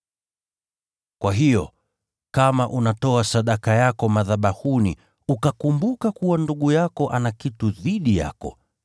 “Kwa hiyo, kama unatoa sadaka yako madhabahuni, ukakumbuka kuwa ndugu yako ana kitu dhidi yako,